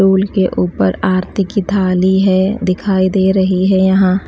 tool के ऊपर आरती की थाली है दिखाई दे रही है यहां --